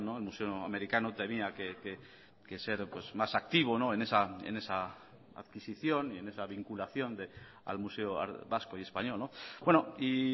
el museo americano tenía que ser más activo en esa adquisición y en esa vinculación al museo vasco y español y